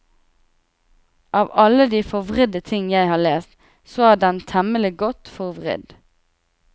Av alle de forvridde ting jeg har lest, så er den temmelig godt forvridd.